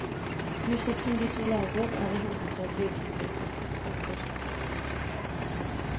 Musikken de to lager er i hovedsak lydkulisser. punktum